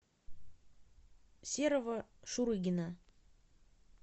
серого шурыгина